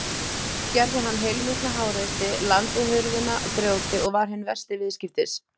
Gerði hann heilmikla háreysti, lamdi hurðina grjóti og var hinn versti viðskiptis.